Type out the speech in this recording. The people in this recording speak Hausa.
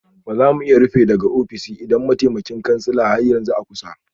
Ba za mu iya rufe daga ofishin idan mataimakin kansila har yanzu a kusa